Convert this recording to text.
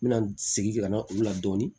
N bɛna segin ka na olu la dɔɔnin